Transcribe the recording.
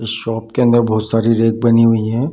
इस शॉप के अन्दर बोहोत सारी रैक बनी हुई हैं।